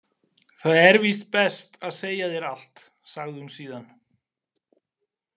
Það er víst best að segja þér allt, sagði hún síðan.